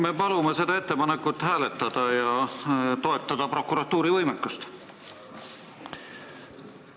Me palume seda ettepanekut hääletada ja toetada prokuratuuri võimekust!